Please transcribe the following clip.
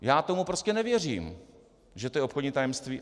Já tomu prostě nevěřím, že to je obchodní tajemství.